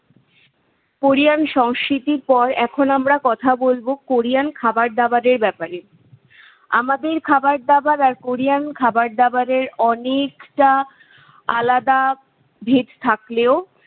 Korean সংস্কৃতির পর এখন আমরা কথা বলবো কোরিয়ান খাবার দাবারের ব্যপারে। আমাদের খাবার দাবার আর কোরিয়ান খাবার দাবারের অনেকটা আলাদা ভেদ থাকলেও